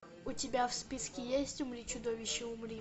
у тебя в списке есть умри чудовище умри